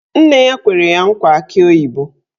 Nne ya kwere ya nkwa akị oyibo